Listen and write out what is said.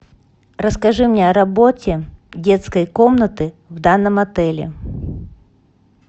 расскажи мне о работе детской комнаты в данном отеле